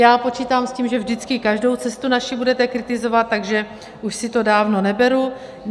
Já počítám s tím, že vždycky každou cestu naši budete kritizovat, takže už si to dávno neberu.